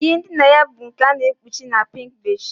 Ihe ndina ya bụ nke a na-ekpuchi na pink bedsheets